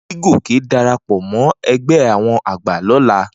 Ni kí Gòkè darapọ̀ mọ́ ẹgbẹ́ àwọn àgbà lọ́la.